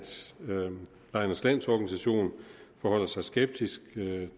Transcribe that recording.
lejernes landsorganisation forholder sig skeptisk